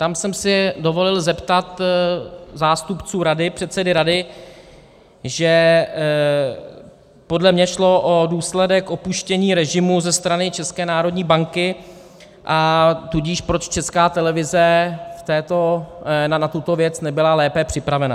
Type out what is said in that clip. Tam jsem se dovolil zeptat zástupců rady, předsedy rady, že podle mě šlo o důsledek opuštění režimu ze strany České národní banky, a tudíž proč Česká televize na tuto věc nebyla lépe připravena.